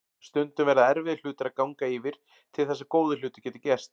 Stundum verða erfiðir hlutir að ganga yfir til þess að góðir hlutir geti gerst.